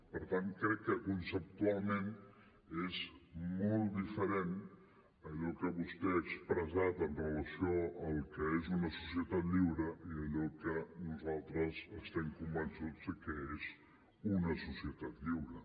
per tant crec que conceptualment és molt diferent allò que vostè ha expressat amb relació al que és una societat lliure i allò que nosaltres estem convençuts que és una societat lliure